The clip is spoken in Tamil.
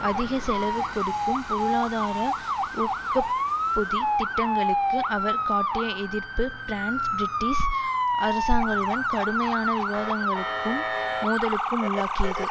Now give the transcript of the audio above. அதிக செலவு கொடுக்கும் பொருளாதார ஊக்கப்பொதி திட்டங்களுக்கு அவர் காட்டிய எதிர்ப்பு பிரான்ஸ் பிரிட்டிஷ் அரசாங்களுடன் கடுமையான விவாதங்களுக்கும் மோதலுக்கும் உள்ளாக்கியது